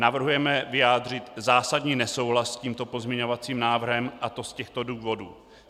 Navrhujeme vyjádřit zásadní nesouhlas s tímto pozměňovacím návrhem, a to z těchto důvodů.